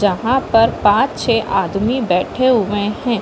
जहाँ पर पांच छे आदमी बैठे हुए है।